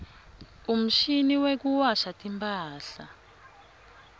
umshini wekuwasha timphahla